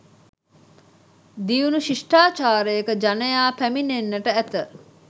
දියුණු ශිෂ්ඨාචාරයක ජනයා පැමිණෙන්නට ඇත.